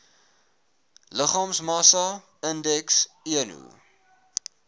liggaamsmassa indeks eno